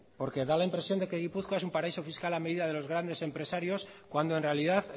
porque da la impresión de que gipuzkoa es un paraíso fiscal a medida de los grandes empresarios cuando en realidad